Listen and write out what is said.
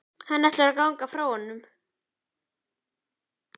Hann ætlaði að ganga frá honum.